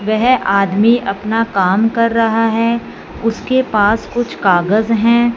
वेहे आदमी अपना काम कर रहा है उसके पास कुछ कागज हैं।